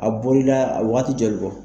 A bolila a bɛ waati jɔli bɔ?